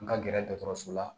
N ka gɛrɛ dɔgɔtɔrɔso la